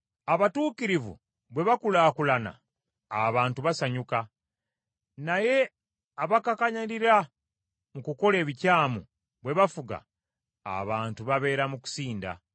Abatuukirivu bwe bakulaakulana, abantu basanyuka, naye abakakanyalira mu kukola ebikyamu bwe bafuga abantu babeera mu kusinda.